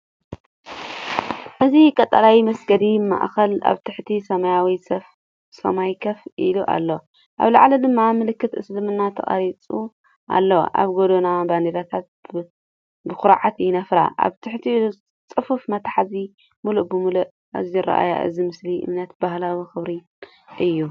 እዚ ቀጠልያ መስጊድ ማእከል ኣብ ትሕቲ ሰማያዊ ሰማይ ኮፍ ኢሉ ኣሎ፣ ኣብ ላዕሊ ድማ ምልክት እስልምና ተቐሪጹ ኣሎ። ኣብ ጎድኑ ባንዴራታት ብኹርዓት ይነፍራ፣ ኣብ ትሕቲኡ ጽፉፍ መትሓዚ ምሉእ ብምሉእ። እዚ ኣረኣእያ እዚ ምሳሌ እምነትን ባህላዊ ክብርን እዩ።